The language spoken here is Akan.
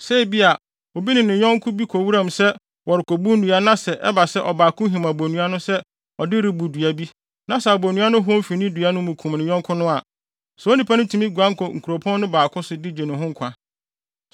Sɛ ebia, obi ne ne yɔnko bi kɔ wuram sɛ wɔrekobu nnua na sɛ ɛba sɛ ɔbaako him abonnua no sɛ ɔde rebu dua bi na sɛ abonnua no hɔn fi ne dua mu kum ne yɔnko no a, saa onipa no tumi guan kɔ nkuropɔn no baako so de gye ne ho nkwa.